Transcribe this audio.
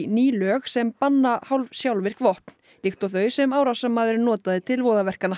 ný lög sem banna hálfsjálfvirk vopn líkt og þau sem árásarmaðurinn notaði til voðaverkanna